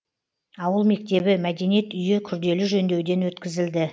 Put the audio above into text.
ауыл мектебі мәдениет үйі күрделі жөндеуден өткізілді